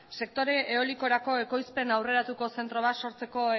sektore eolikorako ekoizpen aurreratuko zentro bat sortzeko